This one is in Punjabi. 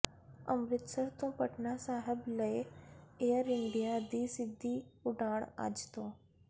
ਅੰਮ੍ਰਿਤਸਰ ਤੋਂ ਪਟਨਾ ਸਾਹਿਬ ਲਈ ਏਅਰ ਇੰਡੀਆ ਦੀ ਸਿੱਧੀ ਉਡਾਣ ਅੱਜ ਤੋਂ